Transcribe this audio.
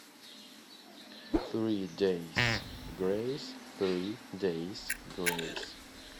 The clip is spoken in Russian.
сри дэйс грэйс сри дэйс грэйс